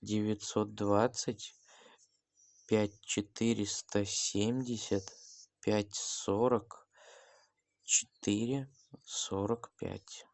девятьсот двадцать пять четыреста семьдесят пять сорок четыре сорок пять